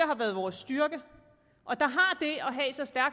har været vores styrke